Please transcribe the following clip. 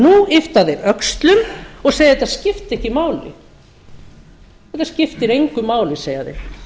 nú yppa þeir öxlum og segja að þetta skipti ekki máli þetta skiptir engu máli segja þeir